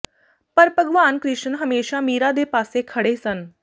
ਪਰ ਭਗਵਾਨ ਕ੍ਰਿਸ਼ਨ ਹਮੇਸ਼ਾ ਮੀਰਾ ਦੇ ਪਾਸੇ ਖੜ੍ਹੇ ਸਨ